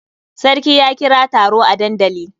Sarki ya kira taro a dandali.